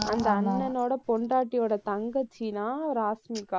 அந்த அண்ணனோட பொண்டாட்டியோட தங்கச்சி தான் ராஷ்மிகா.